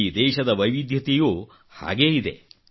ಈ ದೇಶದ ವೈವಿಧ್ಯತೆಯೂ ಹಾಗೇ ಇದೆ